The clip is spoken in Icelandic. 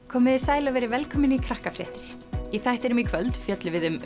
komiði sæl og verið velkomin í Krakkafréttir í þættinum í kvöld fjöllum við um